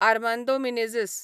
Armando Menezes